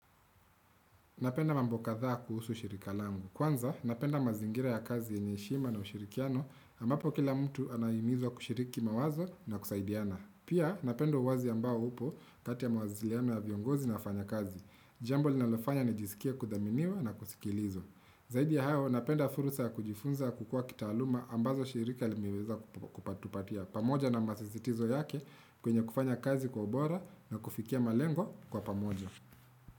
Napenda mambo katha kuhusu shirika langu. Kwanza, napenda mazingira ya kazi enye heshima na ushirikiano ambapo kila mtu anayimizwa kushiriki mawazo na kusaidiana. Pia, napenda wazi ambao upo kati mawasiliana ya viongozi na wafanyakazi. Jambo linalofanya ni jisikia kudhaminiwa na kusikilizwa. Zaidi ya hayo, napenda fursa ya kujifunza kukua kitaaluma ambazo shirika limiweza kupatupatia. Pamoja na masisitizo yake kwenye kufanya kazi kwa ubora na kufikia malengo kwa pamoja.